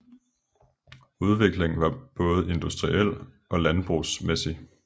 Udviklingen var både industriel og landbrugsmæssig